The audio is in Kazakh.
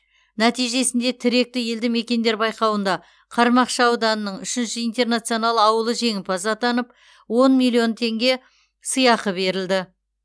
нәтижесінде тіректі елді мекендер байқауында қармақшы ауданының үшінші интернационал ауылы жеңімпаз атанып он миллион теңге сыйақы берілді